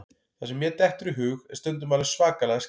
Það sem mér dettur í hug er stundum alveg svakalega skrítið.